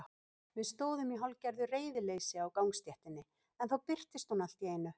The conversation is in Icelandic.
Við stóðum í hálfgerðu reiðileysi á gangstéttinni en þá birtist hún allt í einu.